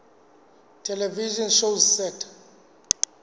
television shows set